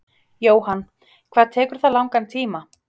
Jóhann: Hvað tekur það langan tíma?